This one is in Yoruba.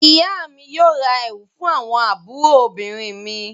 Ìyá mi yóò ra ẹ̀wù fún àwọn àbúrò obìnrin mi.